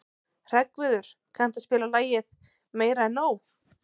Hreggviður, kanntu að spila lagið „Meira En Nóg“?